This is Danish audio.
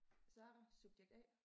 Sara subjekt A